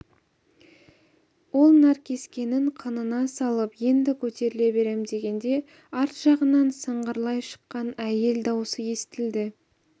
ол наркескенін қынына салып енді көтеріле берем дегенде арт жағынан сыңғырлай шыққан әйел даусы естілді